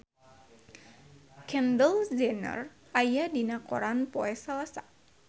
Kendall Jenner aya dina koran poe Salasa